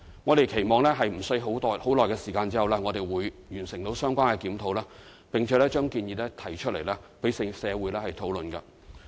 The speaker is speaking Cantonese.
我們期望在短時間內完成相關檢討，並把建議提出，讓社會討論。